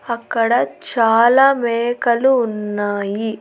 అక్కడ చాలా మేకలు ఉన్నాయి.